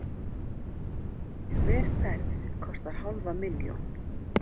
Hver ferð kostar hálfa milljón.